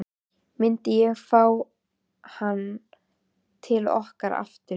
Myndi ég fá hann til okkar aftur?